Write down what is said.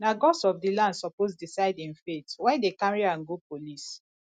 na gods of di land suppose decide im fate why dem carry am go police